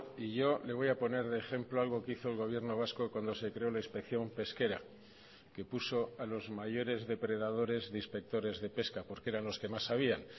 y yo le voy a poner de ejemplo algo que hizo el gobierno vasco cuando se creó la inspección pesquera que puso a los mayores depredadores de inspectores de pesca porque eran los que más sabían